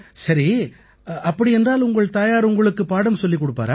சரி அப்படியென்றால் உங்கள் தாயார் உங்களுக்கு பாடம் சொல்லிக் கொடுப்பாரா